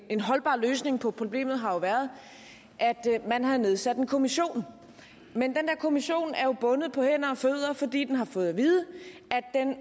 en holdbar løsning på problemet har jo været at man havde nedsat en kommission men den der kommission er jo bundet på hænder og fødder fordi den har fået at vide